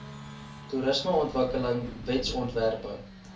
toerismeontwikkelingwetsontwerpe